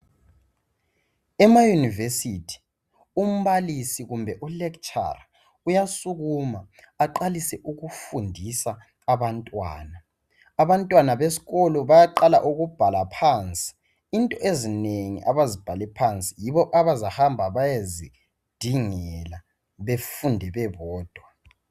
Ema yunivesithi umbalisi kumbe u lecturer uyasukuma aqalise ukufundisa abantwana. Abantwana besikolo bayaqala ukubhala phansi, into ezinengi abazibhale phansi yibo abazahamba beyezidingela befunde bebodwa.